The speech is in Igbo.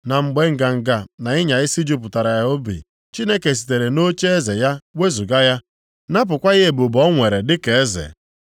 Ma mgbe nganga na ịnya isi jupụtara ya obi, Chineke sitere nʼocheeze ya wezuga ya, napụkwa ya ebube o nwere dịka eze.